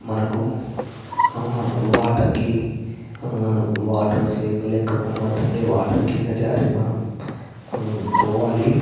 మనకు water hmm water swing లెక్క కనపడుతుంది వాటర్ కింద జారీ మనం హ్మ్మ్ పోవాలి .